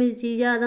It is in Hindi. मिर्ची ज्यादा